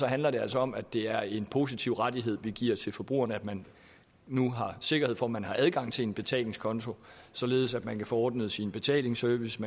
handler det altså om at det er en positiv rettighed vi giver til forbrugerne at man nu har sikkerhed for at man har adgang til en betalingskonto således at man kan få ordnet sin betalingsservice